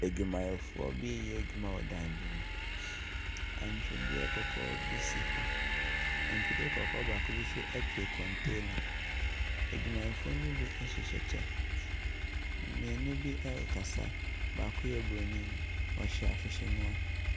Adwumayɛfoɔ bi reyɛ adwuma wɔ dan bi mu. Atwedeɛ kɔkɔɔ bi si hɔ. Atwedeɛ kɔkɔɔ baako bi nso twene container. Adwumayɛfoɔ no bi hyehyɛ kyɛ. Mmienu bi rekasa, baako yɛ buroni, ɔhyɛ ahwehwɛniwa.